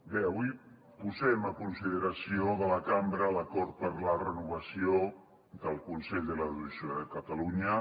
bé avui posem a consideració de la cambra l’acord per a la renovació del consell de l’audiovisual de catalunya